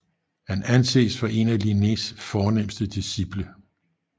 Han anses for en af Linnés fornemste discipler